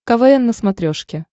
квн на смотрешке